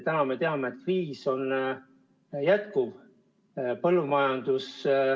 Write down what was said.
Praegu me teame, et kriis kestab.